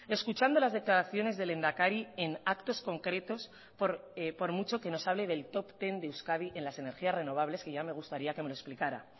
escuchando las declaraciones del lehendakari en actos concretos por mucho que nos hable del top ten de euskadi en las energías renovables que ya me gustaría que me lo explicara